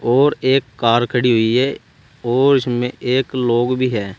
और एक कार खड़ी हुई है और इसमें एक लोग भी है।